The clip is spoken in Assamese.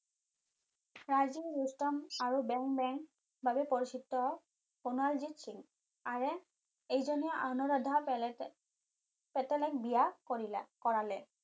উত্তম আৰু বেং বেং বাবে পৰিচিত কুনালজিত সিং আৰে এইজনেই অনুৰাধা পেটেলক বিয়া কৰালে